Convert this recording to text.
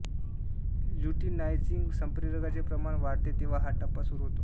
luteinising संप्रेरकांचे प्रमाण वाढते तेव्हा हा टप्पा सुरू होतो